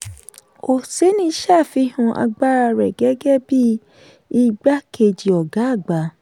oseni ṣáfihàn agbára rẹ̀ gẹ́gẹ́ bíi igbá kejì ọgá àgbà.